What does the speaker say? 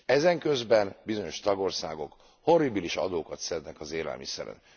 Ezenközben bizonyos tagországok horribilis adókat szednek az élelmiszeren.